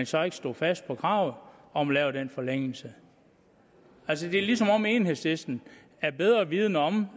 så ikke stod fast på kravet om at lave den forlængelse altså det er som om enhedslisten er bedre vidende om